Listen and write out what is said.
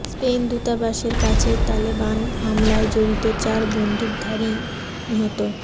Spain দূতাবাসের কাছের Taliban হামলায় জড়িত চার বন্দুকধারীই নিহত